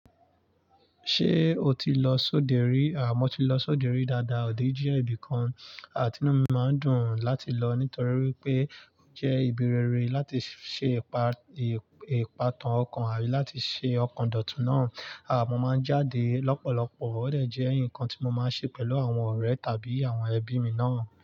Ṣé o ti lọ sódẹ rí? Mọ́ ti lọ sódẹ rí dáadáa o. Òde jẹ́ ibìkan tinú mi máa ń dùn láti lọ nítorí wípé ó jẹ́ ibi rere láti ṣe ìpà-ìpàtàn ọkàn àbí láti ṣe ọkàn dọ̀tun náà. Mọ́ máa ń jáde lọ́pọ̀lọpọ̀, ó dà jẹ́ nǹkan tí mo máa ń ṣe pẹ̀lú àwọn ọ̀rẹ́ tàbí àwọn ẹbí mi náà.